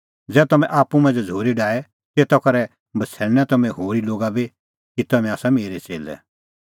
ज़ै तम्हैं आप्पू मांझ़ै झ़ूरी डाहे तेता करै बछ़ैणनै तम्हैं होरी लोगा बी कि तम्हैं आसा मेरै च़ेल्लै